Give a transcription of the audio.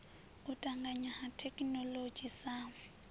u tanganya ha thekhinoḽodzhi sa